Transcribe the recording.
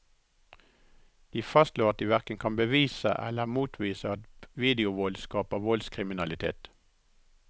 De fastslår at de hverken kan bevise eller motbevise at videovold skaper voldskriminalitet.